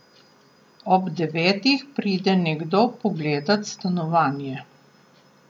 Ob devetih pride nekdo pogledat stanovanje.